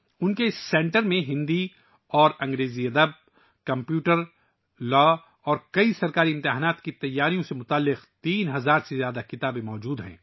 ان کے سینٹر میں ہندی اور انگریزی ادب، کمپیوٹر، قانون اور کئی سرکاری امتحانات کی تیاری سے متعلق 3000 سے زیادہ کتابیں موجود ہیں